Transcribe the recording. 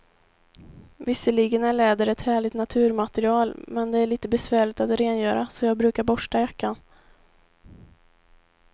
Visserligen är läder ett härligt naturmaterial, men det är lite besvärligt att rengöra, så jag brukar borsta jackan.